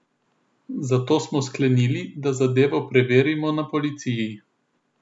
Zato smo sklenili, da zadevo preverimo na policiji.